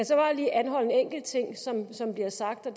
så bare lige anholde en enkelt ting som bliver sagt og